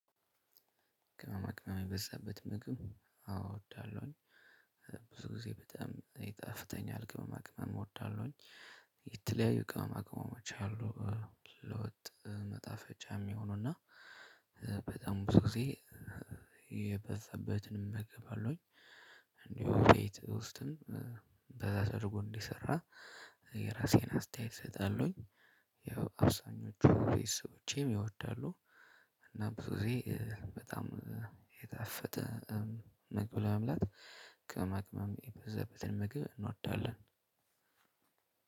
ቅመማ ቅመም የበዛበት ምግብ አወ እወዳለሁኝ። ብዙ ጊዜ በጣም ይጣፍተኛል ቅመማ ቅመም እወዳለሁኝ። የተለያዩ ቅመማ ቅመሞች አሉ። ለወጥ መጣፈጫም እሚሆኑና። በጣም ብዙ ጊዜ የበዛበትንም እመገበአለውኝ። እንዲሁ ቤት ውስጥም በዛ ደርጎ እንዲሰራ የራሴን አስተያየት እሰጣለዉኝ። ያው አብዛኞቹ ቤተሰቦቸም ይወዳሉ። እና ብዙ ጊዜ በጣም የታፈተ ምግብ ለመብላት ቅመማ ቅመም የበዛበትን ምግብ እንወዳለን።